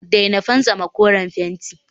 daina fantsama koren fenti